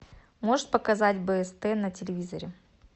можешь показать бст на телевизоре